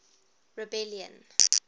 rebellion